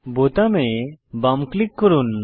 বোতামে বাম ক্লিক করুন